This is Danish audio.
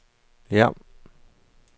Hjerm